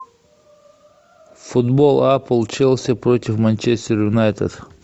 футбол апл челси против манчестер юнайтед